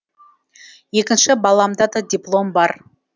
екінші баламда да диплом бар